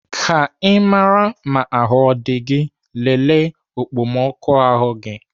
Ka Ị maraa ahụ ọ dị gị, lelee okpomọkụ ahụ gị.